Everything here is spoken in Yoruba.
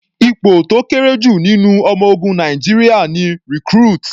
Ipò tó kéré jù nínú ọmọ ogun Nàìjíríà ni Recruit.